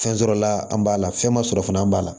Fɛn sɔrɔla an b'a la fɛn ma sɔrɔ fana an b'a la